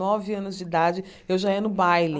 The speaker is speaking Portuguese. Nove anos de idade, eu já ia no baile.